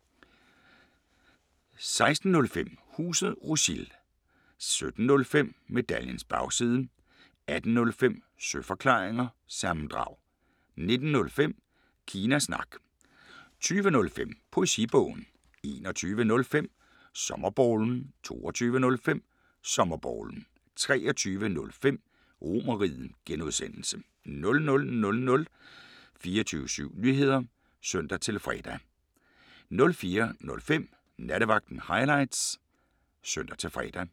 16:05: Huset Rothschild 17:05: Medaljens Bagside 18:05: Søeforklaringer – sammendrag 19:05: Kina Snak 20:05: Poesibogen 21:05: Sommerbowlen 22:05: Sommerbowlen 23:05: RomerRiget (G) 00:00: 24syv Nyheder (søn-fre) 04:05: Nattevagten Highlights (søn-fre)